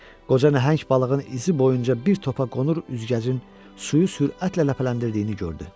Qoca nəhəng balığın izi boyunca bir topa qonur, üzgəcin suyu sürətlə ləpələndirdiyini gördü.